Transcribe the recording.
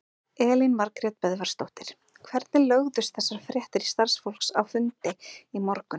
Elín Margrét Böðvarsdóttir: Hvernig lögðust þessar fréttir í starfsfólk á fundi í morgun?